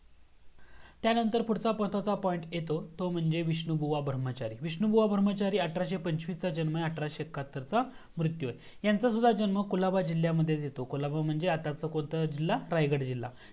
त्यानंतर पुढचं महत्वाचा point येतो तो मंजेविष्णु बुवा ब्राहमचरि विष्णु बुवा ब्राहमचरि अठराशे पंचवीस चा जन्म आहे अठराशे एक्काहत्तरचा मृतू आहे हयसुद्धा जन्म कोलबा जिल्ह्यात येतो कोलबा म्हणजे आताचा कोणता जिल्हा रायगड जिल्हा